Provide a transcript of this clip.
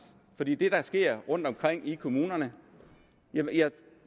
for det er det der sker rundtomkring i kommunerne og jeg